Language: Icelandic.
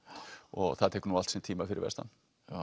og það tekur nú allt sinn tíma fyrir vestan